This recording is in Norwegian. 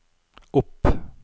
opp